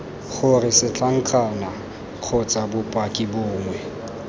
gore setlankana kgotsa bopaki bongwe